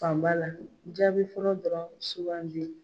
Fanba la, jaabi fɔlɔ dɔrɔnw sugandi.